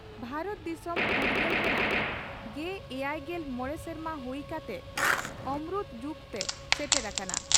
ᱵᱷᱟᱨᱚᱛ ᱫᱤᱥᱚᱢ ᱯᱷᱩᱨᱜᱟᱹᱞ ᱨᱮᱱᱟᱜᱮᱭᱟᱭᱜᱮᱞ ᱢᱚᱲᱮ ᱥᱮᱨᱢᱟ ᱦᱩᱭ ᱠᱟᱛᱮ ᱚᱢᱨᱩᱛ ᱡᱩᱜᱽᱛᱮ ᱥᱮᱴᱮᱨ ᱟᱠᱟᱱᱟ ᱾